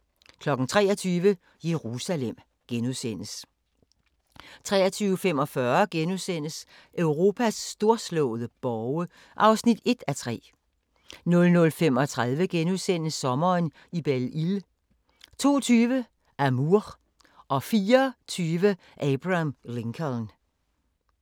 23:00: Jerusalem * 23:45: Europas storslåede borge (1:3)* 00:35: Sommeren i Belle Isle * 02:20: Amour 04:20: Abraham Lincoln